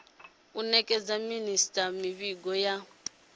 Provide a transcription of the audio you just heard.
u nekedza minisita mivhigo ya